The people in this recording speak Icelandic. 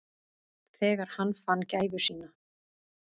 Þegar hann fann gæfu sína.